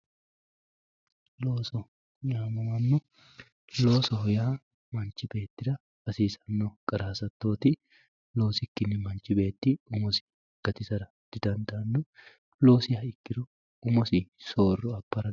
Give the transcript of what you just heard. Looso yamamanno, loosoho yaa manchi beettira hasisanno qara hasatoti, loosikkinni manchi beetti umosi gatissara didandaanno loosiha ikkiro umosi sooro abara